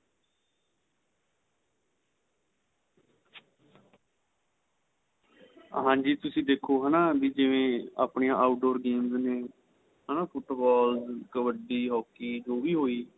ਹਾਂਜੀ ਤੁਸੀਂ ਦੇਖੋ ਹੈਨਾ ਵੀ ਜਿਵੇਂ ਆਪਣੇਂ out door games ਨੇ ਹੈਨਾ ਫੁੱਟਬਾਲ ਕਬੱਡੀ hockey ਜੋ ਵੀ ਹੋਈ